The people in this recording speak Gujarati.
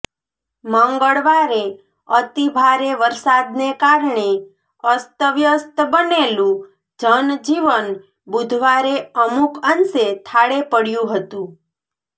મંગળવારે અતિભારે વરસાદને કારણે અસ્તવ્યસ્ત બનેલું જનજીવન બુધવારે અમુક અંશે થાળે પડયું હતું